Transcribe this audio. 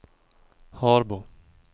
Harbo